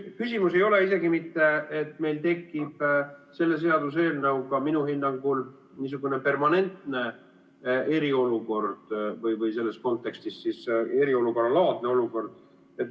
Küsimus ei ole isegi mitte see, et meil tekib selle seaduseelnõuga minu hinnangul niisugune permanentne eriolukord või selles kontekstis siis eriolukorralaadne olukord.